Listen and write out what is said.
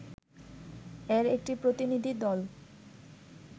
এর একটি প্রতিনিধি দল